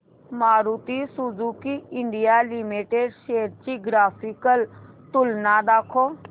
Maruti Suzuki India limited shares ची graphical तुलना दाखव